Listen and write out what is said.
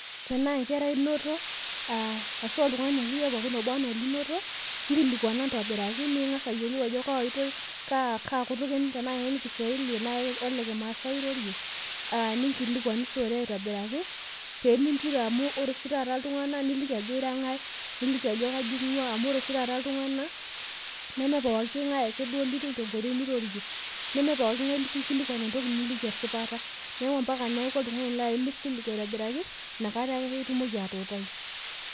tenaa enkerai inoto inkilikuana intobiraki ning'as ayiolou ajo kaa itoi kaa kutuk ekimasai irorie tenaa kekisuali, ninkilikuanishore aitobiraki pee minture amu ore oshi taata iltung'anak neme pooki ng'ae inkilikuan entoki nikiliki esipata.